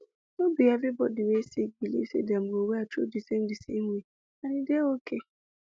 no be every body wey sick believe say dem go well through di same di same way and e dey okay